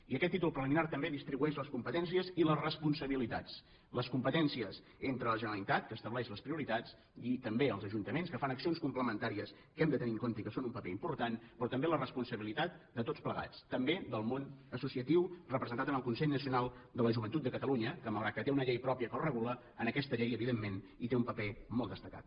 i aquest títol preliminar també distribueix les competències i les responsabilitats les competències entre la generalitat que estableix les prioritats i també els ajuntaments que fan accions complementàries que hem de tenir en compte i que són un paper important però també la responsabilitat de tots plegats també del món associatiu representat en el consell nacional de la joventut de catalunya que malgrat que té una llei pròpia que el regula en aquesta llei evidentment hi té un paper molt destacat